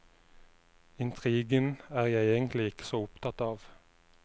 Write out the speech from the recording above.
Intrigen er jeg egentlig ikke så opptatt av.